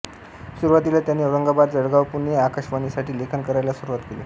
सुरूवातीला त्यांनी औरंगाबाद जळगाव पुणे आकाशवाणीसाठी लेखन करायला सुरूवात केली